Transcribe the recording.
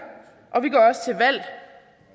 og vi